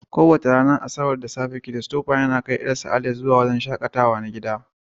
Kowace ranar Asabar da safe, Christopher yana kai ƴarsa Alice zuwa wurin shaƙatawa na gida.